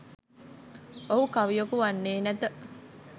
ඔහු කවියෙකු වන්නේ නැත.